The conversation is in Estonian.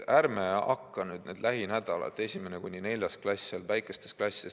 Ärme hakka nüüd lähinädalatel 1.–4. klassi kiusama.